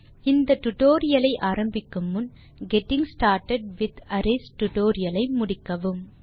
இந்த டியூட்டோரியல் ஐ ஆரம்பிக்கும் முன் கெட்டிங் ஸ்டார்ட்டட் வித் அரேஸ் டுடோரியலை முடிக்கவும்